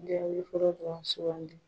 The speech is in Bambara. Jaabi fɔlɔ dɔrɔn sugandi.